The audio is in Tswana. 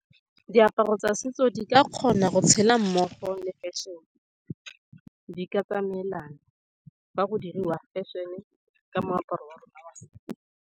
Diaparo tsa setso di ka kgona go tshela mmogo le fashion-e. Di ka tsamaelana fa go diriwa fashion-e ka moaparo wa .